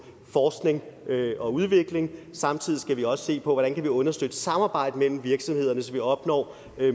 forskning og udvikling samtidig skal vi også se på hvordan vi kan understøtte samarbejdet mellem virksomhederne så vi opnår